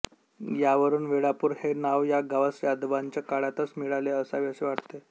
यावरून वेळापूर हे नांव या गावास यादवांच्या काळातच मिळाले असावे असे वाटते